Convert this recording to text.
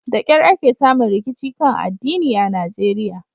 Da kyar ake samun rikici kan addini a Najeriya.